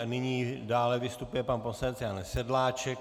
A nyní dále vystupuje pan poslanec Jan Sedláček.